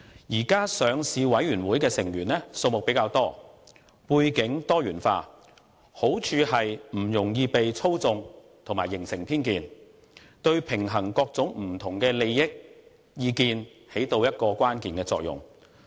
現時上市委員會的成員數目比較多，背景多元化，好處是不容易被操縱及形成偏見，對平衡各種不同利益的意見發揮關鍵作用。